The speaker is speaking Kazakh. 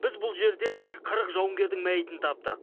біз бұл жерде қырық жауынгердің мәйітін таптық